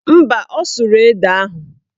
Mba, ọ sụrụ ede ahụ